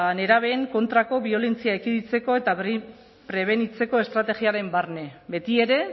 nerabeen kontrako biolentzia ekiditeko eta prebenitzeko estrategiaren barne betiere